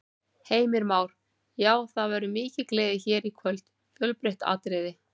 Heimir Már: Já, og það verður mikil gleði hér í kvöld, fjölbreytt atriði?